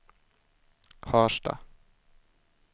Harstad